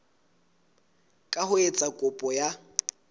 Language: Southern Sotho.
ka ho etsa kopo ya